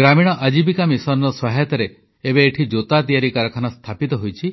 ଗ୍ରାମୀଣ ଜୀବିକା ମିଶନ ସହାୟତାରେ ଏବେ ଏଠି ଜୋତା ତିଆରି କାରଖାନା ସ୍ଥାପିତ ହୋଇଛି